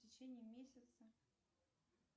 в течение месяца